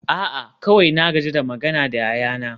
a'a kawai na gaji da magana da yayana